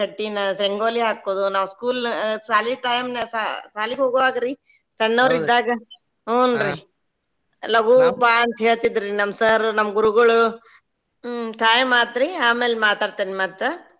ಕಟ್ಟಿನಾ ರಂಗೋಲಿ ಹಾಕೋದು ನಾವ್ school ಶಾಲಿ time ನ ಶಾ~ ಶಾಲಿಗ್ ಹೋಗೋವಾಗ್ರಿ ಸಣ್ಣವ್ರ ಇದ್ದಾಗ ಹುಂ ರೀ ಲಗು ಬಾ ಅಂತೇಳ್ತಿದ್ರಿ ನಮ್ಮ sir ನಮ್ಮ ಗುರುಗಳು ಹ್ಮ್‌ time ಆತ್ರಿ ಆಮೇಲ್ ಮಾತಾಡ್ತೇನ್ ಮತ್ತ.